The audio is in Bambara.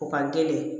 O ka teli